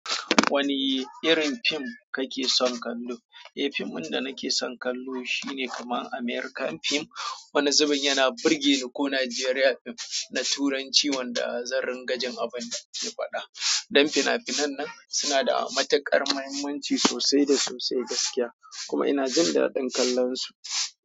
Wani irin fim kake son kallo? Eh, fim ɗin da nake son kallo, shine kamar American fim. Wani zubin yana burge ni ko Nigerian fim na Turanci wanda zan ringa jin abun da su ke faɗa. Dan fina-finan nan suna da matuƙar mahimmanci sosai da sosai gaskiya, kuma ina jin dadin kallonsu.